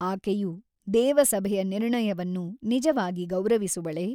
ಆಕೆಯು ದೇವಸಭೆಯ ನಿರ್ಣಯವನ್ನು ನಿಜವಾಗಿ ಗೌರವಿಸುವಳೆ?